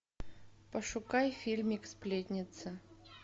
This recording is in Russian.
пошукай фильмик сплетница